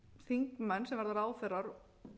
þingmenn sem verða ráðherrar